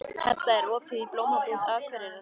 Hedda, er opið í Blómabúð Akureyrar?